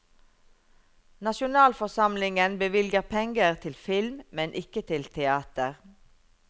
Nasjonalforsamlingen bevilger penger til film, men ikke til teater.